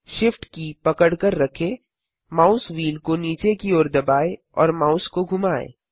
shift की पकड़कर रखें माउस व्हील को नीचे की ओर दबाएँ और माउस को घुमाएँ